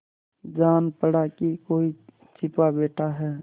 जान पड़ा कि कोई छिपा बैठा है